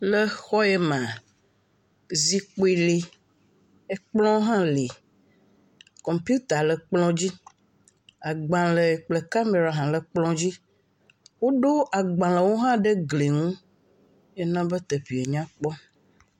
Le xɔ yamea, zikpui li. Kɔmpita le kplɔ dzi. Agbalẽ kple kamera hã le kplɔa dzi. Woɖo agbalẽwo hã ɖe gli nu ye nya be ɖevia nyakpɔ.